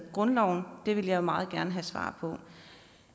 grundloven det vil jeg meget gerne have svar på